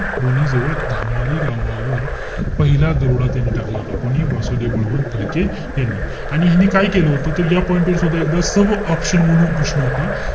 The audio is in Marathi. लोणी जवळ धामारी गावावर पहिला दरोडा त्यांनी टाकला होता. कोणी? वासुदेव बळवंत फडके यांनी. आणि यांनी काय केलं होतं? त या point वर सुद्धा एकदा sub-option म्हणून प्रश्न होता.